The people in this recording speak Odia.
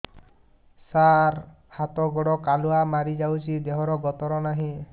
ସାର ହାତ ଗୋଡ଼ କାଲୁଆ ମାରି ଯାଉଛି ଦେହର ଗତର ନାହିଁ